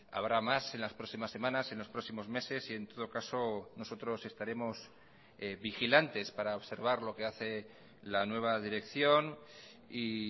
habrá más en las próximas semanas en los próximos meses y en todo caso nosotros estaremos vigilantes para observar lo que hace la nueva dirección y